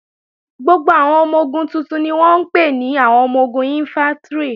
Gbogbo àwọn ọmọ-ogun tuntun ni wọ́n ń pè ní àwọn ọmọ-ogun Ìnfántrì